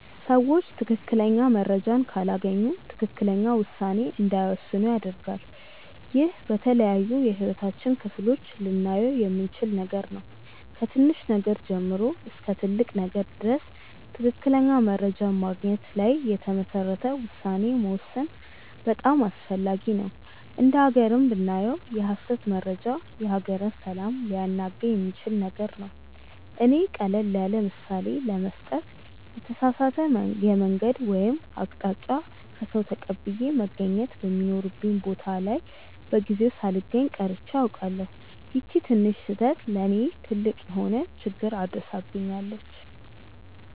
ሰዎች ትክክለኛ መረጃን ካላገኙ ትክክለኛ ውሳኔ እንዳይወስኑ ያደርጋል። ይህ በተለያዩ የህይወታችን ክፍሎች ላይ ልናየው የምንችል ነገር ነው። ከትንሽ ነገር ጀምሮ እስከ ትልቅ ነገር ድረስ ትክክለኛ መረጃን በማግኘት ላይ የተመሰረተ ውሳኔ መወሰን በጣም አስፈላጊ ነው። እንደ ሃገርም ብናየው የሐሰት መረጃ የሀገርን ሰላም ሊያናጋ የሚችል ነገር ነው። እኔ ቀለል ያለምሳሌ ለመስጠት የተሳሳተ የመንገድ ወይም አቅጣጫ ከሰዉ ተቀብዬ መገኘት በሚኖርብኝ ቦታ ላይ በጊዜው ሳልገኝ ቀርቼ አውቃለሁ። ይቺ ትንሽ ስህተት ለእኔ ትልቅ የሆነ ችግር አድርሳብኛለች።